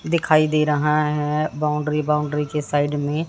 दिखाई दे रहा है बाउंड्री बाउंड्री के साइड में--